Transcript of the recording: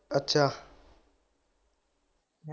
ਅੱਛਾ।